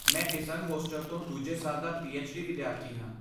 ਮੈਂ ਡਿਸੰਗ ਹੋਸਟਲ ਤੋਂ ਦੂਜੇ ਸਾਲ ਦਾ ਪੀਐਚਡੀ ਵਿਦਿਆਰਥੀ ਹਾਂ।